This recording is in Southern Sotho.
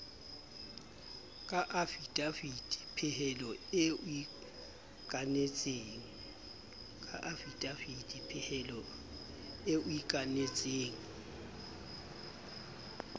ka afidavitepehelo eo o ikanetseng